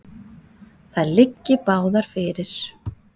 Þær liggi báðar fyrir.